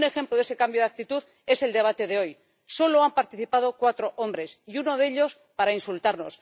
Y un ejemplo de ese cambio de actitud es el debate de hoy solo han participado cuatro hombres, y uno de ellos para insultarnos.